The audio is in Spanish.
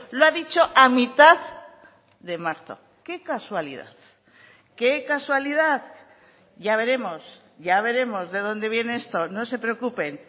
lo ha dicho a mitad de marzo qué casualidad qué casualidad ya veremos ya veremos de donde viene esto no se preocupen